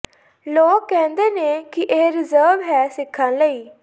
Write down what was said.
ਲੋਕ ਕਹਿੰਦੇ ਨੇ ਕਿ ਇਹ ਰੀਜ਼ਰਵ ਹੈ ਸਿਖਾਂ ਲਈ